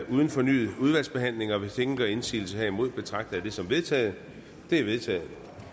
uden fornyet udvalgsbehandling hvis ingen gør indsigelse herimod betragter jeg det som vedtaget det er vedtaget